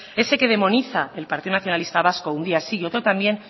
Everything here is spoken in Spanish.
ese que demoniza el partido nacionalista vasco un día sí y otro también